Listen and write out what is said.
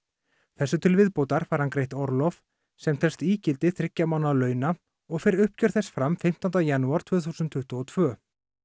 þessu til viðbótar fær hann greitt orlof sem telst ígildi þriggja mánaða launa og fer uppgjör þess fram fimmtánda janúar tvö þúsund tuttugu og tvö